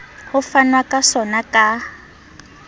ho fanwa ka sona ka